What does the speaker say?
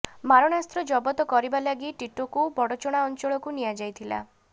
ମାରଣାସ୍ତ୍ର ଜବତ କରିବା ଲାଗି ଟିଟୋକୁ ବଡ଼ଚଣା ଅଞ୍ଚଳକୁ ନିଆଯାଇଥିଲା